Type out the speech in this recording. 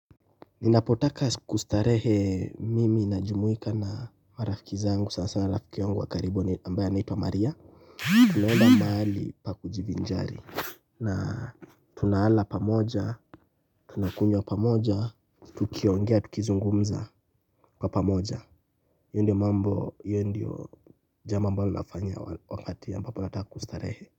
Ninapotaka kustarehe mimi ninajumuika na marafiki zangu sana sana rafiki yangu wa karibu ambaye anaitwa Maria. Tunaenda mahali pa kujivinjari. Na tunalala pamoja, tunakunywa pamoja. Tukiongea tukizungumza kwa pamoja hiyo ndio mambo hiyo ndio jabo ambalo ninafanya wakati ambapo nataka kustarehe.